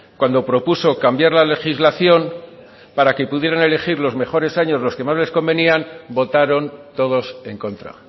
cuando propuso cambiar la legislación para que pudieran elegir los mejores años los que más les convenían votaron todos en contra